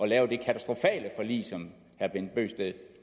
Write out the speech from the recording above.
lave det katastrofale forlig som herre bent bøgsted